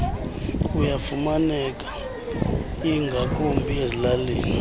ayafumaneka ingakumbi ezilalini